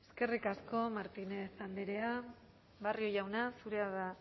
eskerrik asko martínez andrea barrio jauna zurea da